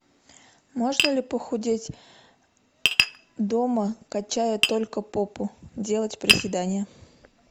можно ли похудеть дома качая только попу делать приседания